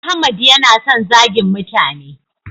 Ahmad ya na son zagin mutane